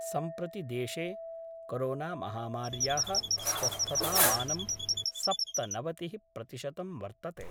सम्प्रति देशे कोरोनामहामार्या: स्वस्थतामानं सप्तनवतिः प्रतिशतं वर्तते।